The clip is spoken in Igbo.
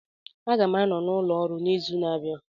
Aga m anọ n'ụlọ ọrụ n'izu na-abịa